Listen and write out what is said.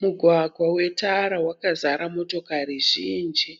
Mugwagwa wetara wakazara motokari zhinji